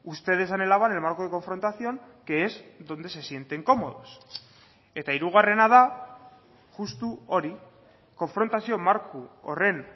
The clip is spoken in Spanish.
ustedes anhelaban el marco de confrontación que es donde se sienten cómodos eta hirugarrena da justu hori konfrontazio marko horren